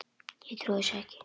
Ég trúi þessu nú ekki!